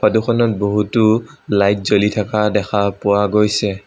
Photo খনত বহুতো light জ্বলি থকা দেখা পোৱা গৈছে।